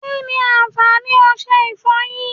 Kínni àwọn àǹfààní ọsẹ ìfọyín?